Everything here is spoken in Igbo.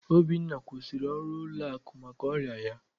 Obinna kwụsịrị ọrụ ụlọakụ maka ọrịa ya.